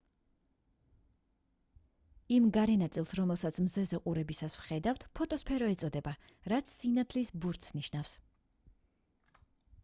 იმ გარე ნაწილს რომელსაც მზეზე ყურებისას ვხედავთ ფოტოსფერო ეწოდება რაც სინათლის ბურთს ნიშნავს